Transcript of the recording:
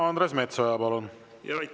Andres Metsoja, palun!